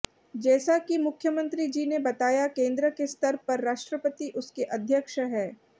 जैसा कि मुख्यमंत्री जी ने बताया केंद्र के स्तर पर राष्ट्रपति उसके अध्यक्ष हैं